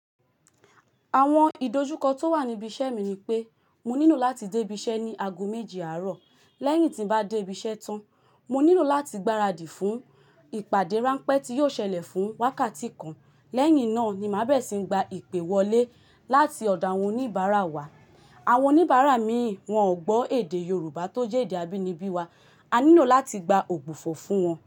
Àwọn ìdojúkọ tó wà níbi iṣẹ́ mi ni pé, mo nílò láti dé ibiṣẹ́ ní ago méjì àárọ̀. Lẹ́yìn tí n bá dé ibi iṣẹ́ tán, mo nílò láti gbaradì fún ìpàdé ráńpẹ́ tí yóò ṣẹlẹ̀ fún wákàtí kan. Lẹ́yìn náà ni máa bẹ̀rẹ̀ sí ń gba ìpè wọlé láti ọ̀dọ̀ àwọn oníbàárà wa. Àwọn oníbàárà míì wọ́n ò gbọ́ èdè Yorùbá tó jẹ́ èdè abínibí wa. A nílò láti gba ògbufọ̀ fún wọn.